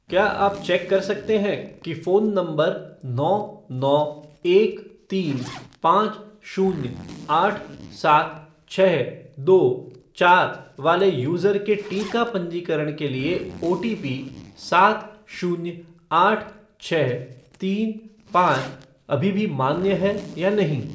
क्या आप चेक कर सकते हैं कि फ़ोन नंबर नौ नौ एक तीन पाँच शून्य आठ सात छः दो चार वाले यूज़र के टीका पंजीकरण के लिए ओटीपीसात शून्य आठ छः तीनपाँच अभी भी मान्य है या नहीं?